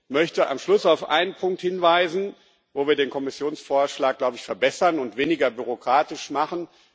Ich möchte am Schluss auf einen Punkt hinweisen, wo wir den Kommissionsvorschlag, glaube ich, verbessern und weniger bürokratisch machen.